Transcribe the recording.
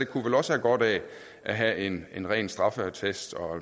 kunne vel også have godt af at have en en ren straffeattest og